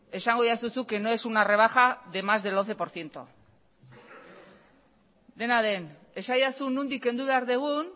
esango didazu zuk que no es una rebaja de más del once por ciento dena den esadazu nondik kendu behar dugun